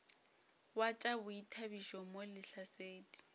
wa tša boithabišo mo lehlasedi